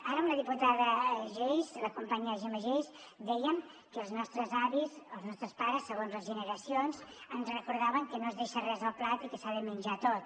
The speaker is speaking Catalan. ara amb la diputada geis la companya gemma geis dèiem que els nostres avis els nostres pares segons les generacions ens recordaven que no es deixa res al plat i que s’ha de menjar tot